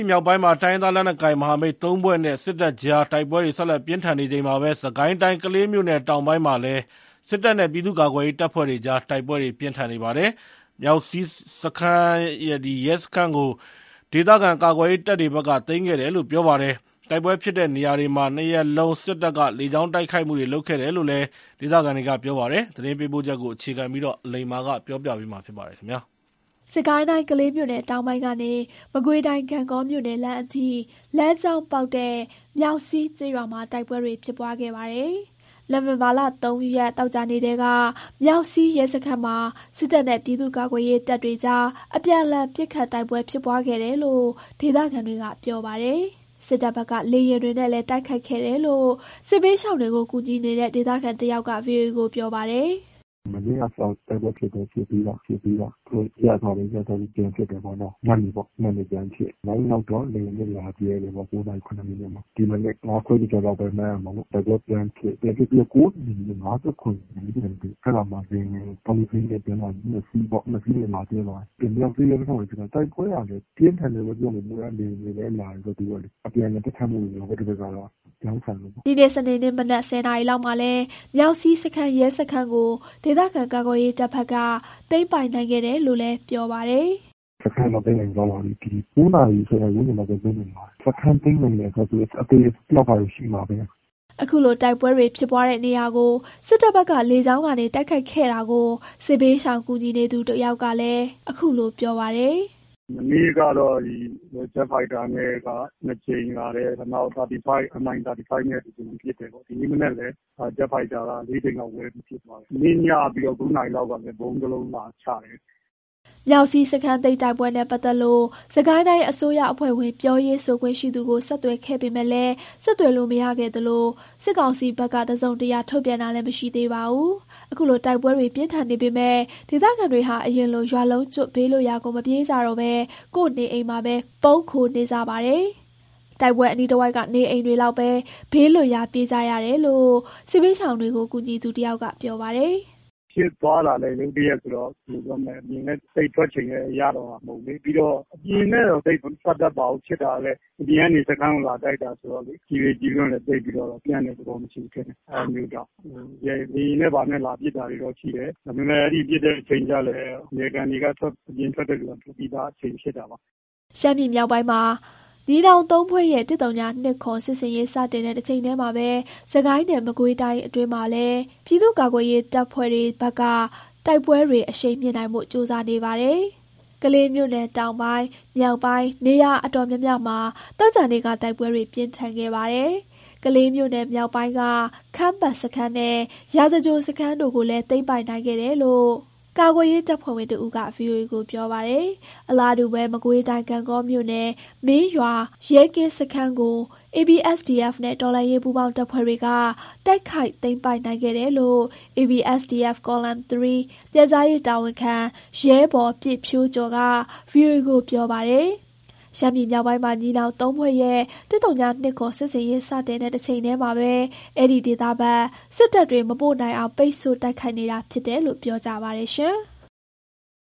ယ်မြောက်ပိုင်းမှာ တိုင်းရင်းသားလက်နက်ကိုင်မဟာမိတ် ၃ ဖွဲ့နဲ့ စစ်တပ်ကြား တိုက်ပွဲတွေ ဆက်လက် ပြင်းထန်နေချိန်မှာပဲ စစ်ကိုင်းတိုင်း ကလေးမြို့နယ်တောင်ပိုင်းမှာလည်း စစ်တပ်နဲ့ ပြည်သူ့ ကာကွယ်ရေးတပ်ဖွဲ့တွေကြား တိုက်ပွဲတွေ ပြင်းထန်နေပါတယ်။ မြောက်စည်းစခန်းရဲစခန်းကို ဒေသခံ ကွယ်ရေးတပ်ဖက်က သိမ်းခဲ့တယ်လို့ ပြောပါတယ်။ တိုက်ပွဲဖြစ်တဲ့နေရာတွေမှာ ၂ ရက်လုံး စစ်တပ်က လေကြောင်းတိုက်ခိုက်မှုတွေ လုပ်ခဲ့တယ်လို့ ဒေသခံတွေပြောပါတယ်။ သတင်းပေးပို့ချက်ကို အခြေခံပြီး အလိမ္မာကတင်ပြပေးပါမယ်။ စစ်ကိုင်းတိုင်း၊ ကလေးမြို့နယ်တောင်ပိုင်းကနေ မကွေးတိုင်း၊ ဂန့်ဂေါမြို့နယ်လမ်းအထိ လမ်းကြောင်း ပေါက်တဲ့ မြောက်စည်းကျေးရွာမှာ တိုက်ပွဲတွေဖြစ်ပွားခဲ့ပါတယ်။ နိုဝင်ဘာလ ၃ ရက်၊ သောကြာနေ့ထဲက မြောက်စည်းရဲစခန်းမှာ စစ်တပ်နဲ့ ပြည်သူ့ကာကွယ်ရေးတပ်တွေ ကြား အပြန်အလှန် ပစ်ခတ်တိုက်ပွဲ ဖြစ်ပွားခဲ့တယ်လို့ဒေသခံတွေက ပြောပါတယ်။ စစ်တပ်ဘက်က လေယာဉ်တွေနဲ့လည်း တိုက်ခိုက်ခဲ့တယ် လို့ စစ်ဘေးရှောင်တွေကို ကူညီနေတဲ့ ဒေသခံတယောက်က VOA ကိုပြောပါတယ်။ “မနေ့ကစပြီး တိုက်ပွဲဖြစ်တယ်။ ဖြစ်ပြီးတော့ သူတို့ရပ်သွားတယ်၊ ရပ်ထားပြီး ညနေပေါ့၊ ညနေဖြစ်ပြီး တယ်ပေါ့နော်။ နောက်တော့ ည ၉ နာရီ ၇ မိနစ်မှာ လေယာဉ်နဲ့ လာကြဲတယ်ပေါ့။ ဒီမနက် ၅ ခွဲကျော် ကျော်လောက်ပဲ။ မှန်းရမှာပေါ့၊ တိုက်ပွဲပြန်ဖြစ် ပြန်ဖြစ်ပြီးတော့ (ဒီနေ့မနက်) ၉ နာရီ ၅၇ မိနစ်လောက် မှာတော့လေယာဉ် သုံးစီးနဲ့ ပြန်လာပြီး ၂ စီးနဲ့ လာကြဲသွားတယ်။ မြောက်စည်းရဲစခန်းမှာပဲ ဖြစ်တာ၊ တိုက် ပွဲက ပြင်းထန်တယ်လို့ ပြောမယ် လေယာဉ်တွေလည်း လာတယ်ပေါ့လေ၊ အပြန်အလှန် ပစ်ခတ်မှု တွေရော၊ ဗြောင်းဆန်တယ်ပေါ့။" ဒီနေ့ စနေနေ့ မနက် ၁၀ နာရီလောက်မှာတော့ မြောက်စည်းစခန်းရဲစခန်းကို ဒေသခံကွယ်ရေးတပ်ဖက်က သိမ်းပိုက်နိုင်ခဲ့တယ်လို့လည်း ပြောပါတယ်။ “စခန်းတော့ သိမ်းနိုင်သွားပါပြီး။ ဒီ ၉ နာရီ ၁၀ နာရီဝန်းကျင်လောက်က သိမ်းနိုင်ပါတယ်။ စခန်းသိမ်းနိုင် တယ်ဆိုတော့ သူတို့က အသေအပျောက်တော့ ရှိမှာပဲ။” ခုလိုတိုက်ပွဲတွေ ဖြစ်ပွားတဲ့နေရာကို စစ်တပ်ဘက်က လေကြောင်းကနေ တိုက်ခိုက်ခဲ့တာကိုစစ်ဘေး ရှောင် ကူညီနေသူတယောက်ကလည်း ခုလို ပြောပါတယ်။ “မနေ့ကတော့ ဂျက်ဖိုက်တာနဲ့က ၂ကြိမ်လာတယ်၊ နောက် MI-25 နဲ့ ၁ကြိမ်ပစ်တယ်ပေါ့။ ဒီနေ့မနက် လည်း ဂျက်ဖိုက်တာက ၄ ကြိမ်လောက် ဝဲပြီးပစ်သွားတယ်။ မနေ့ညက ၃ နာရီလောက်ကလည်း ဗုံးတစ်လုံးလာချတယ်။” မြောက်စည်းစခန်းသိမ်းတိုက်ပွဲနဲ့ ပတ်သက်လို့ စစ်တိုင်တိုင်း အစိုးရအဖွဲ့ဝင် ပြောရေးဆိုခွင့်ရှိသူကို ဆက်သွယ်ခဲ့ပေမယ့် မရခဲ့သလို စစ်ကောင်စီဘက်က တစုံတရာ ထုတ်ပြန်တာလည်း မရှိသေးပါဘူး။ အခုလို တိုက်ပွဲတွေ ပြင်းထန်နေပေမဲ့ ဒေသခံတွေဟာ အရင်လို ရွာလုံးကျွတ် ဘေးလွတ်ရာကို မပြေး ကြတော့ဘဲ ကိုယ့်နေအိမ်မှာ ပုန်းခိုနေကြပါတယ်။ တိုက်ပွဲအနီးတဝိုက်က နေအိမ်တွေလောက်ပဲ ဘေးလွတ်ရာ ပြေးကြတယ်လို့ စစ်ဘေးရှောင်ကူညီသူက ပြောပါတယ်။ “ဖြစ်သွားတာလည်း ရုတ်တရက်ဆိုတော့ ဘယ်လိုပြောမလဲ အပြင်လည်း သိပ်ထွက်ချိန်ရတော့မှာမဟုတ် ဘူး၊ ပြီးတော့ အပြင်နဲ့တော့ သိပ်မပတ်သက်ပါဘူး၊ ဖြစ်တာလည်း အပြင်ကနေ စခန်းကိုလာတိုက်တာ ဆိုတော့လေ၊ ကျည်လေ ကျည်လွင့်တွေလည်း သိပ်ပြီးတော့ ပြန့်တဲ့ သဘောမရှိဘူး ထင်တယ်၊ အဲ့ဒါမျိုးကြောင့်၊ လေယာဉ်နဲ့ ဘာနဲ့ လာပစ်တာတော့ ရှိတယ်။ ဒါပေမယ့် အဲဒီပစ်တဲ့ အချိန်ကလည်း (တချို့)နယ်ခံတွေက အပြင်ထွက်တဲ့လူက ထွက်ပြီးသားအချိန်ဖြစ်တာပါ။” ရှမ်းပြည်မြောက်ပိုင်းမှာ ညီနောင် ၃ ဖွဲ့ရဲ့ ၁၀၂၇ စစ်ဆင်ရေး စတင်တဲ့ တချိန်တည်းမှာပဲ စစ်ကိုင်းနဲ့ မကွေးတိုင်းအတွင်းမှလည်း ပြည်သူ့ကာကွယ်ရေးတပ်တွေဖက်က တိုက်ပွဲတွေ အရှိန်မြှင့်နိုင်ဖို့ ကြိုးစားနေပါတယ်။ ကလေးမြို့နယ်တောင်ပိုင်း၊ မြောက်ပိုင်း နေရာအတော်များများမှာ သောကြာနေ့က တိုက်ပွဲတွေပြင်းထန် ခဲ့ပါတယ်။ ကလေးမြို့နယ်မြောက်ပိုင်းက ခမ်းပတ်စခန်းနဲ့ ရာဇဂြိုဟ်စခန်းတို့ကိုလည်း သိမ်းပိုက်နိုင်တယ် လို့ ကာကွယ်ရေး တပ်ဖွဲ့ဝင်တဦးက ဗွီအိုအေကိုပြောပါတယ်။ အလာတူး မကွေးတိုင်း၊ ဂန့်ဂေါမြို့နယ် မင်းရွာရဲကင်းစခန်းကို ABSDF နဲ့ တော်လှန်ရေးပူးပေါင်းတပ်ဖွဲ့တွေက တိုက်ခိုက်သိမ်းပိုက်နိုင်ခဲ့တယ်လို့ ABSDF Column 3 ပြန်ကြားရေးတာဝန်ခံ ရဲဘော်ပြည့်ဖြိုးကျော်က ဗွီအိုအေကို ပြောပါတယ်။ ရှမ်းပြည်မြောက်ပိုင်းမှာ ညီနောင် ၃ဖွဲ့ရဲ့ ၁၀၂၇ စစ်ဆင်ရေး စတင်တဲ့ တချိန်တည်းမှာ အဲဒီဒေသဘက် စစ်တပ်တွေ မပို့နိုင်အောင် ပိတ်ဆို့တိုက်ခိုက်နေတာဖြစ်တယ်လို့ ပြောကြပါတယ်။